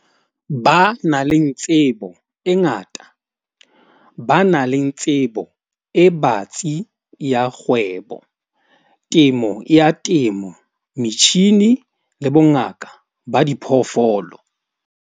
Ba nang le tsebo e ngata, ba nang le tsebo e batsi ya kgwebo, temo ya temo, metjhini, le bongaka ba diphoofolo.